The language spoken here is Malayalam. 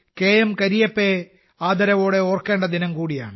കരിയപ്പയെ ആദരവോടെ ഓർക്കേണ്ട ദിനംകൂടിയാണ്